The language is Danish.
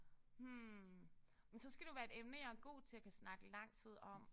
Hm men skal det jo være et emne jeg er god til og kan snakke lang tid om